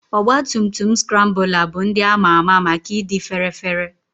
Ọgba tum tum Skrambụla bụ ndị ama ama maka ịdị fére féré.